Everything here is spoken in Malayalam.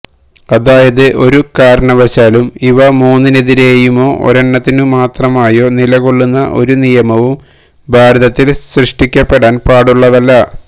അതായത് ഒരു കാരണവശാലും ഇവ മൂന്നിനെതിരേയുമോ ഒരെണ്ണത്തിനു മാത്രമായോ നിലകൊള്ളുന്ന ഒരു നിയമവും ഭാരതത്തില് സൃഷ്ടിക്കപ്പെടാന് പാടുള്ളതല്ല